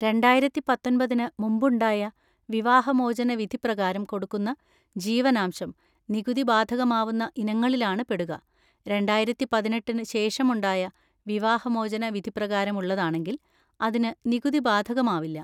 രണ്ടായിരത്തി പത്തൊൻപതിന് മുമ്പുണ്ടായ വിവാഹമോചന വിധി പ്രകാരം കൊടുക്കുന്ന ജീവനാംശം നികുതി ബാധകമാവുന്ന ഇനങ്ങളിലാണ് പെടുക; രണ്ടായിരത്തി പതിനെട്ടിന് ശേഷമുണ്ടായ വിവാഹമോചന വിധി പ്രകാരം ഉള്ളതാണെങ്കിൽ അതിന് നികുതി ബാധകമാവില്ല.